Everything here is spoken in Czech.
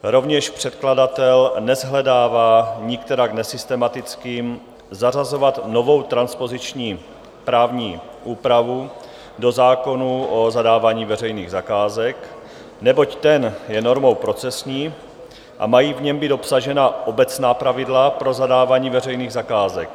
Rovněž předkladatel neshledává nikterak nesystematickým zařazovat novou transpoziční právní úpravu do zákona o zadávání veřejných zakázek, neboť ten je normou procesní a mají v něm být obsažena obecná pravidla o zadávání veřejných zakázek.